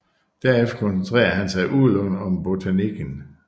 Derefter koncentrerede han sig udelukkende om botanikken